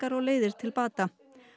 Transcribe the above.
og leiðir til bata